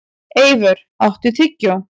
Eivör, áttu tyggjó?